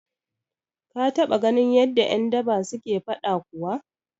Ka taɓa ganin yadda ƴan daba suke faɗa kuwa?